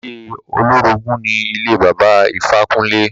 Ilé olórogùn ni ilé Bàbá Ifákúnle.